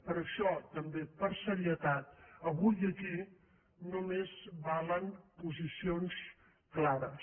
per això també per serietat avui aquí només valen posicions clares